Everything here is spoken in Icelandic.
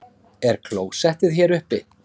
Er klósettið hér uppi?